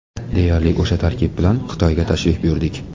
Deyarli o‘sha tarkib bilan Xitoyga tashrif buyurdik.